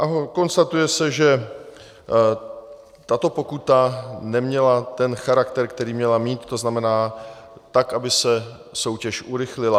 A konstatuje se, že tato pokuta neměla ten charakter, který měla mít, to znamená, tak aby se soutěž urychlila.